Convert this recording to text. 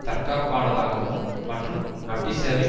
தற்காப்பானாதாகவும் மற்றும் வட்டிச் சேவை